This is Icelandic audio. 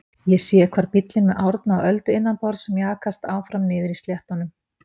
Ég sé hvar bíllinn með Árna og Öldu innanborðs mjakast áfram niðri á sléttunum.